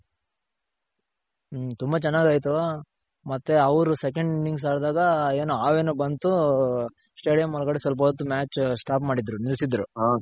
ತುಂಬ ಚೆನಾಗ್ ಆಯ್ತು. ಮತ್ತೆ ಅವ್ರು second innings ಆಡ್ದಾಗ ಏನೋ ಹಾವೇನೋ ಬಂತು stadium ಒಳ್ಗಡೆ ಸ್ವಲ್ಪೋತ್ತು match stop ಮಾಡಿದ್ರು ನಿಲ್ಸಿದ್ರು.